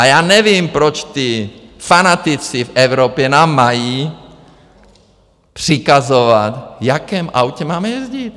A já nevím, proč ti fanatici v Evropě nám mají přikazovat, v jakém autě máme jezdit.